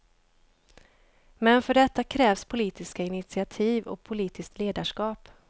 Men för detta krävs politiska initiativ och politiskt ledarskap.